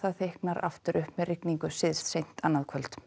þykknar aftur upp með rigningu syðst seint annað kvöld